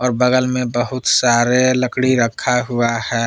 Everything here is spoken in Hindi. और बगल में बहुत सारे लकड़ी रखा हुआ है।